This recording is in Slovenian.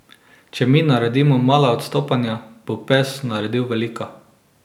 Če mi naredimo mala odstopanja, bo pes naredil velika.